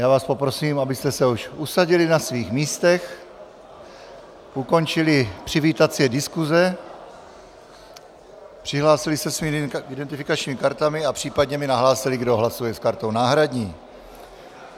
Já vás poprosím, abyste se už usadili na svých místech, ukončili přivítací diskuse, přihlásili se svými identifikačními kartami a případně mi nahlásili, kdo hlasuje s kartou náhradní.